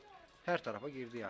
Hər tərəfə girdi, yəni.